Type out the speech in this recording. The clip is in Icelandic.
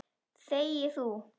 Þegi þú!